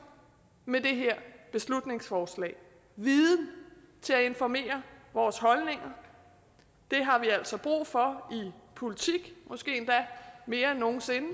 med det her beslutningsforslag viden til at informere vores holdninger det har vi altså brug for i politik måske endda mere end nogen sinde